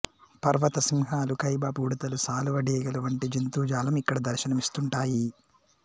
పర్వత సింహాలు కైబాబ్ ఉడతలు సాళువ డేగల వంటి జంతుజాలం ఇక్కడ దర్శనం ఇస్తుంటాయి